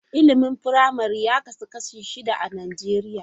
Ilimin firamare ya kasu kashi shida a Najeriya.